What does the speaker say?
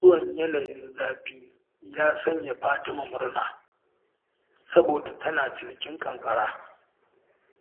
Zuwan yanayin zafi ya sanya Fatima murna, saboda tana cinikin ƙanƙara.